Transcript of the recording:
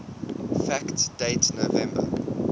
fact date november